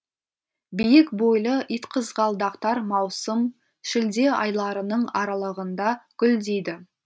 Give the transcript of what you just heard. биік бойлы итқызғалдақтар маусым шілде айларының аралығында гүлдейді